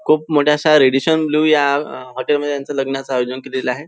खूप मोठ्या अश्या रॅडिशन ब्लू या अ हॉटेल मध्ये यांच लग्नाच आयोजन केलेल आहे.